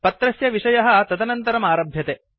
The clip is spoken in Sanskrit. पत्रस्य विषयः तदनन्तरम् आरभ्यते